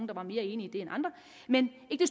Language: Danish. der var mere enige i det end andre men ikke